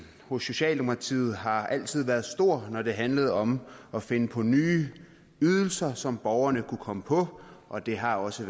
hos socialdemokratiet har altid været stor når det handlede om at finde på nye ydelser som borgerne kunne komme på og det har også